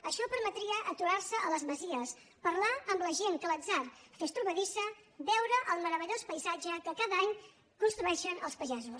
això permetria aturar se a les masies parlar amb la gent que l’atzar fes trobadissa veure el meravellós paisatge que cada any construeixen els pagesos